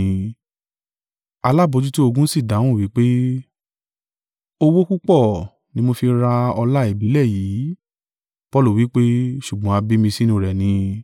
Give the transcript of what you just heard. Alábojútó-ogun sì dáhùn wí pé, “Owó púpọ̀ ni mo fi ra ọlá ìbílẹ̀ yìí.” Paulu wí pé, “Ṣùgbọ́n a bí mi sínú rẹ̀ ni.”